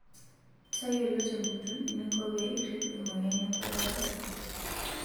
Tayiolo tenguton eninko pee irip emoyian enkuatata osarge.